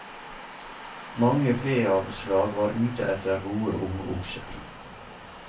Mange feavlslag var ute etter gode ungokser.